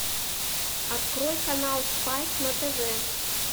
открой канал спайк на тв